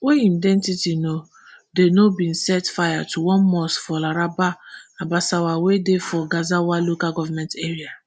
wey im identity no dey known bin set fire to one mosque for laraba abasawa wey dey for gezawa local goment area